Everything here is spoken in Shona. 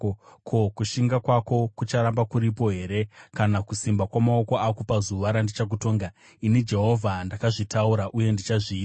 Ko, kushinga kwako kucharamba kuripo here kana kusimba kwamaoko ako pazuva randichakutonga? Ini Jehovha ndakazvitaura, uye ndichazviita.